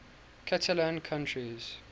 catalan countries